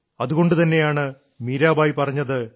അതുകൊണ്ടുതന്നെയാണ് മീരബായി പറഞ്ഞത്